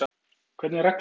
Hvernig er reglan?